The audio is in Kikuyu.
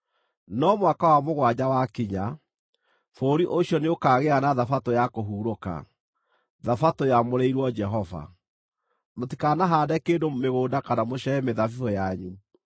No mwaka wa mũgwanja wakinya, bũrũri ũcio nĩũkagĩa na Thabatũ ya kũhurũka, Thabatũ yamũrĩirwo Jehova; mũtikanahaande kĩndũ mĩgũnda kana mũcehe mĩthabibũ yanyu.